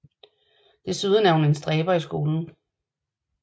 Desuden er hun en stræber i skolen